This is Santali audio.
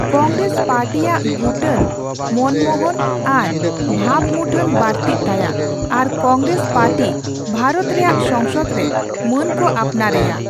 ᱠᱚᱝᱜᱨᱮᱥ ᱯᱟᱨᱴᱤᱭᱟᱜ ᱜᱩᱴᱟᱱ ᱢᱟᱹᱱᱢᱚᱦᱚᱛ ᱟᱨ ᱵᱷᱟᱵᱽᱢᱩᱴᱷᱟᱹᱱ ᱵᱟᱹᱲᱛᱤᱜ ᱛᱟᱭᱟ ᱟᱨ ᱠᱚᱝᱜᱨᱮᱥ ᱯᱟᱨᱴᱤ ᱵᱷᱟᱨᱚᱛ ᱨᱮᱭᱟᱜ ᱥᱚᱝᱥᱚᱫᱽ ᱨᱮ ᱢᱟᱹᱱ ᱠᱚ ᱟᱯᱱᱟᱨ ᱮᱭᱟ ᱾